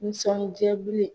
Nisɔnjaa